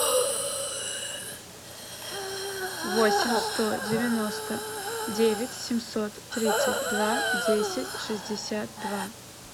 восемь сто девяносто девять семьсот тридцать два десять шестьдесят два